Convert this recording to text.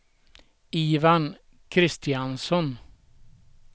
Ivan Kristiansson